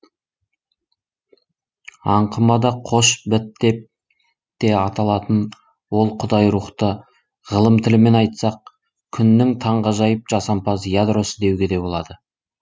аңқымада қош біт деп те аталатын ол құдай рухты ғылым тілімен айтсақ күннің таң ғажайып жасампаз ядросы деуге де болады